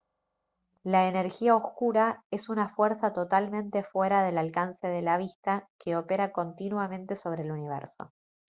la energía oscura es una fuerza totalmente fuera del alcance de la vista que opera continuamente sobre el universo